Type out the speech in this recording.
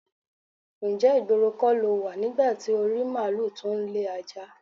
Ǹjé̩ ìgboro kó̩ lo wà nígbà tí o rí málùú tó ń le ajá?